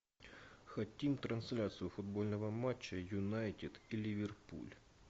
хотим трансляцию футбольного матча юнайтед и ливерпуль